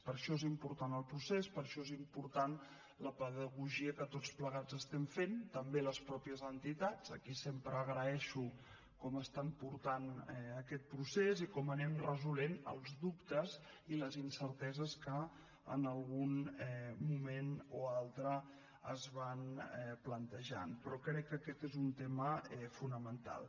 per això és important el procés per això és important la pedagogia que tots plegats estem fent també les mateixes entitats a qui sempre agraeixo com estan portant aquest procés i com anem resolent els dubtes i les incerteses que en un moment o altre es van plantejant però crec que aquest és un tema fonamental